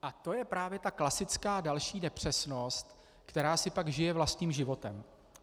A to je právě ta klasická další nepřesnost, která si pak žije vlastním životem.